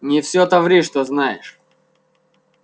не все то ври что знаешь